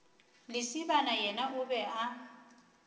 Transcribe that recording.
lesibana yena o be a